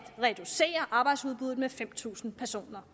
reducere arbejdsudbuddet med fem tusind personer